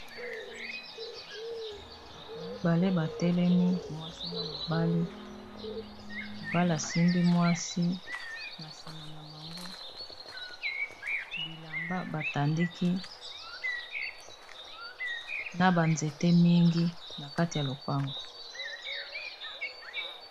bato mibale batelemi mwasi na mobali mobalasimbi mwasi na nsima na bango bilamba batandiki na banzete mingi na kati ya lopango